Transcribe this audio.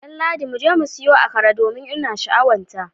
Danladi, muje mu siyo akara domin ina sha'awarta